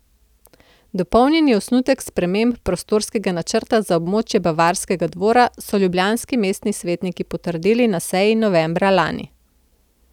Dopolnjeni osnutek sprememb prostorskega načrta za območje Bavarskega dvora so ljubljanski mestni svetniki potrdili na seji novembra lani.